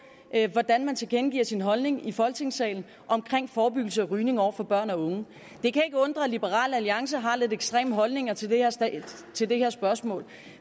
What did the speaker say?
hvordan man tilkendegiver sin holdning i folketingssalen omkring forebyggelse af rygning over for børn og unge det kan ikke undre at liberal alliance har lidt ekstreme holdninger til til det her spørgsmål